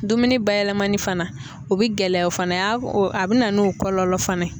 Dumuni bayɛlɛmani fana o bɛ gɛlɛya o fana a bɛ na n'o kɔlɔlɔ fana ye.